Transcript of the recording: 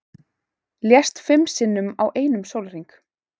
Lést fimm sinnum á einum sólarhring